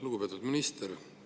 Lugupeetud minister!